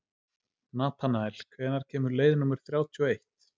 Natanael, hvenær kemur leið númer þrjátíu og eitt?